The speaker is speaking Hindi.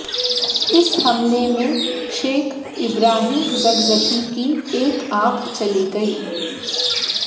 इस हमले में शैख़ इब्राहीम ज़कज़की की एक आंख चली गयी